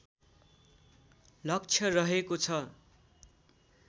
लक्ष्य रहेको छ